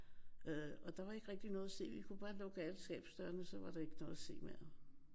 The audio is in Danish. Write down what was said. Øh og der var ikke rigtig noget at se. Vi kunne bare lukke alle skabsdørene så var der ikke noget at se mere